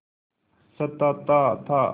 सताता था